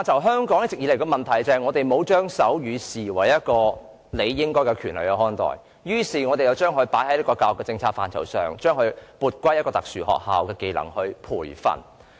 香港一直以來的問題是沒有把學習手語視為應得的權利，因此政府將手語學習納入教育政策範疇，撥歸特殊學校作為一種技能進行培訓。